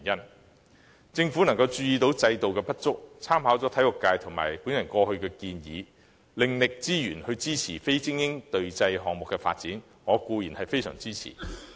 對於政府能意識到制度的不足，參考體育界和我過往的建議，另覓資源支持非精英隊際項目的發展，我固然非常支持。